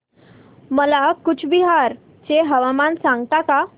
मला कूचबिहार चे हवामान सांगता का